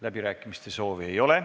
Läbirääkimiste soovi ei ole.